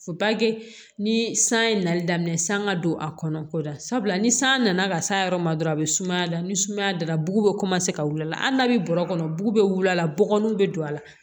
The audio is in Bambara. ni san ye nali daminɛ san ka don a kɔnɔ ko dabila ni san nana ka s'a yɔrɔ ma dɔrɔn a bɛ sumaya la ni sumaya dara bugu bɛ ka wuli a la hali n'a bɛ bɔrɔ kɔnɔ bugu bɛ wili a la bɔgɔninw bɛ don a la